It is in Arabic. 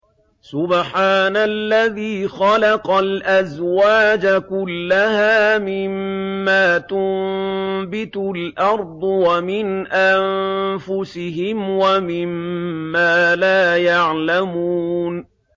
سُبْحَانَ الَّذِي خَلَقَ الْأَزْوَاجَ كُلَّهَا مِمَّا تُنبِتُ الْأَرْضُ وَمِنْ أَنفُسِهِمْ وَمِمَّا لَا يَعْلَمُونَ